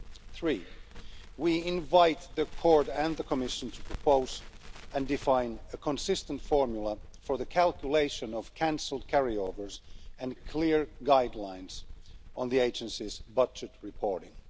Three, we invite the Court and the Commission to propose and define a consistent formula for the calculation of cancelled carryovers and clear guidelines on agencies' budget reporting.